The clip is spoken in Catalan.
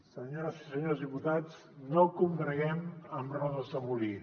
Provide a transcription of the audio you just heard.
senyores i senyors diputats no combreguem amb rodes de molí